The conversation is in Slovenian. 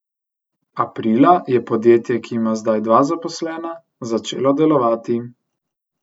Aprila je podjetje, ki ima zdaj dva zaposlena, začelo delovati.